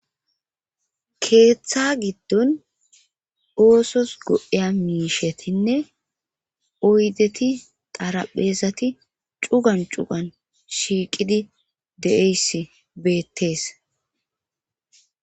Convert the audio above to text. keeththa giddon oosos go7eya miishetinne oydeti xarapheezati cugan cugan shiiqidi de7eyss beettees